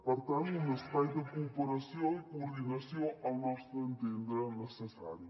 per tant un espai de cooperació i coordinació al nostre entendre necessari